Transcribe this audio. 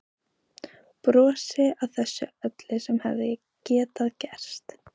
Brosi að þessu öllu sem hefði getað gerst.